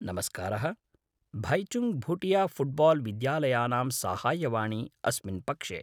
नमस्कारः, भैचुङ्ग् भूटिया फुट्बाल् विद्यालयानां साहाय्यवाणी अस्मिन् पक्षे।